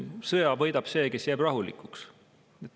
Sõja võidab see, kes jääb rahulikuks.